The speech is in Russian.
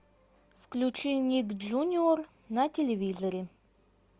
включи ник джуниор на телевизоре